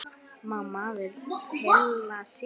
Má maður tylla sér?